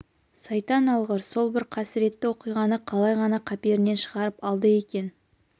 сайтан алғыр сол бір қасіртті оқиғаны қалай ғана қаперінен шығарып алды екен